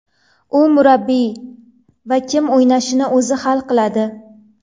U murabbiy va kim o‘ynashini o‘zi hal qiladi.